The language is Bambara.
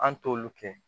An t'olu kɛ